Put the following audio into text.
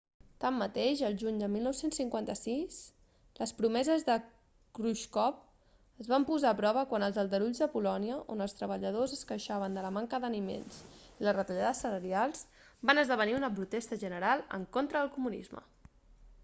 tanmateix el juny de 1956 les promeses de khrusxov es van posar a prova quan els aldarulls de polònia on els treballadors es queixaven de la manca d'aliments i les retallades salarials van esdevenir una protesta general en contra el comunisme